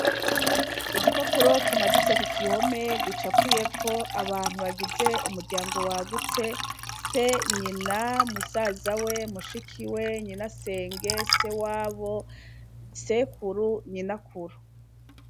Igipapuro kimaditse kugihome gicapuyeko abantu bagize umuryango wagutse se , nyina , musazawe , mushikiwe, nyinasenge, sewabo, sekuru, nyinakuru.